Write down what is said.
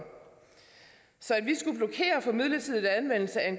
så at for midlertidig anvendelse af